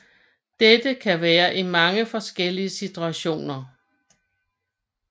Dette kan være i mange forskellige situationer